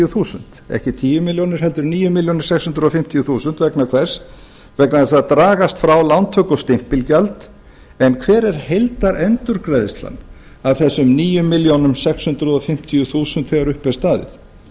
milljónir ekki tíu milljónir heldur níu komma sex fimm núll milljónir króna vegna hvers vegna þess að það dragast frá lántöku og stimpilgjald en hver er heildarendurgreiðslan af þessum níu þúsund sex hundruð og fimmtíu milljónum króna þegar upp er staðið